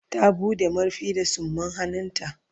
Ta buɗe. marfin da tsumman hannu ta